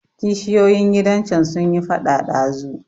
Kishiyoyin gidan can sunyi faɗa ɗazu.